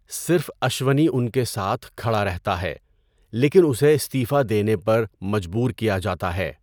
صرف اشونی ان کے ساتھ کھڑا رہتا ہے، لیکن اسے استعفیٰ دینے پر مجبور کیا جاتا ہے۔